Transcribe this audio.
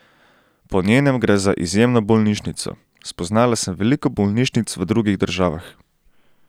Po njenem gre za izjemno bolnišnico: "Spoznala sem veliko bolnišnic v drugih državah.